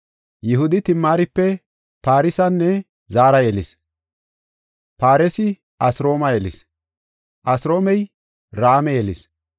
Yihudi Timaaripe Faaresanne Zaara yelis; Faaresi Asroome yelis; Asroomey Raame yelis;